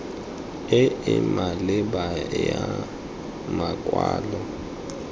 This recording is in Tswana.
e e maleba ya makwalo